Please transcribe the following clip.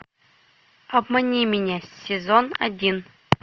обмани меня сезон один